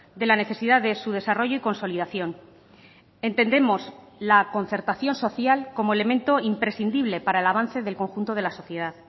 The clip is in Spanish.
de la necesidad de su desarrollo y consolidación entendemos la concertación social como elemento imprescindible para el avance del conjunto de la sociedad